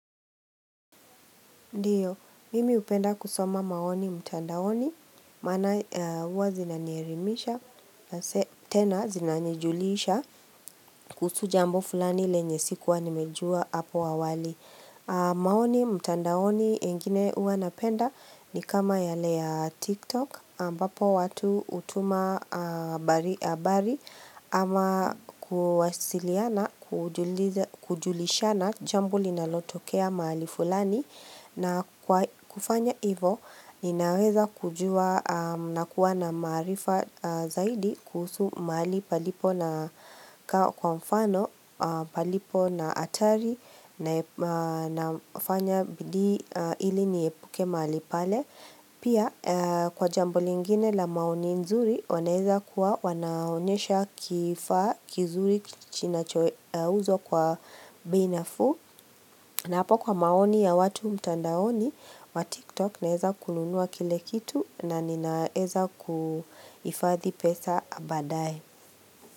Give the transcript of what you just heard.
Ndiyo, mimi hupenda kusoma maoni mtandaoni, maana huwa zinanielimisha na tena zinanijulisha kuhusu jambo fulani lenye sikuwa nimejua hapo awali. Maoni mtandaoni ingine uwa napenda ni kama yale ya TikTok ambapo watu hutuma habari ama kuwasiliana kujulishana jambo linalotokea mahali fulani na kwa kufanya hivo ninaweza kujua na kuwa na maarifa zaidi kuhusu mahali palipo na kao kwa mfano palipo na hatari na nafanya bidii ili niepuke mahali pale. Pia kwa jambo lingine la maoni nzuri wanaweza kuwa wanaonesha kifaa kizuri kinachouzwa kwa bei nafuu na hapa kwa maoni ya watu mtandaoni wa tiktok naweza kununua kile kitu na ninaweza kuhifadhi pesa ya baadaye.